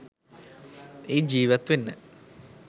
ඒත් ජීවත් වෙන්න